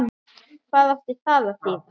Hvað átti það að þýða?